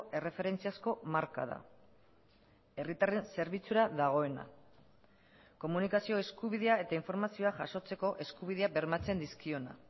erreferentziazko marka da herritarren zerbitzura dagoena komunikazio eskubidea eta informazioa jasotzeko eskubidea bermatzen dizkiona